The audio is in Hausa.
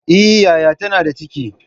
Eh, yaya ta na da ciki